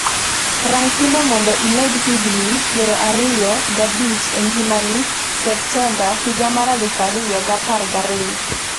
rang thuno mondo imed higni piero ariyo g'abich e ngimani Septemba 2012 3:35